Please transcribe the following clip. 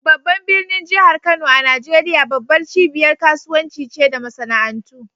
Babban birnin jihar Kano a Najeriya, babbar cibiyar kasuwanci ce da masana'antu.